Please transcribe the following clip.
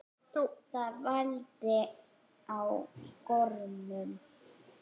Það vældi í gormum.